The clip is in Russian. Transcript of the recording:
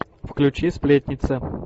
включи сплетница